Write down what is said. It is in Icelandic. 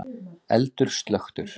Eldur slökktur